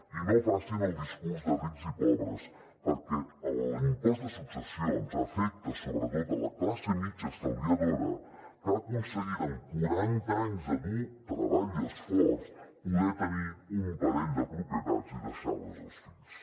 i no facin el discurs de rics i pobres perquè l’impost de successions afecta sobretot la classe mitjana estalviadora que ha aconseguit amb quaranta anys de dur treball i esforç poder tenir un parell de propietats i deixar les als fills